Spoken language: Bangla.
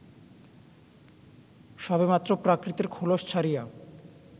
সবেমাত্র প্রাকৃতের খোলস ছাড়িয়া